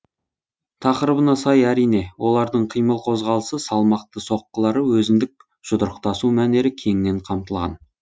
тақырыбына сай әрине олардың қимыл қозғалысы салмақты соққылары өзіндік жұдырықтасу мәнері кеңінен қамтылған